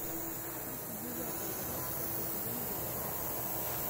тридцать девятая часть пятый сезон декстер